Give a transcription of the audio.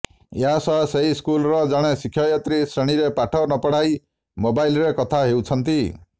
ଏହା ସହ ସେହି ସ୍କୁଲର ଜଣେ ଶିକ୍ଷୟତ୍ରୀ ଶ୍ରେଣୀରେ ପାଠ ନପଢ଼ାଇ ମୋବାଇଲରେ କଥା ହେଉଛନ୍ତି